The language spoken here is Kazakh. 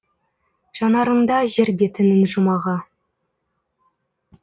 жанарыңда жер бетінің жұмағы